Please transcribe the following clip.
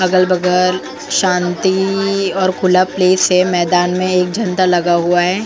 अगल बगल शांति और खुला प्लेस है मैदान में एक झंडा लगा है।